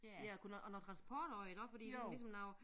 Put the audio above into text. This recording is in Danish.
Ja og kunne noget og noget transport også iggå fordi ligesom ligesom noget